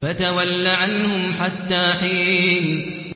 فَتَوَلَّ عَنْهُمْ حَتَّىٰ حِينٍ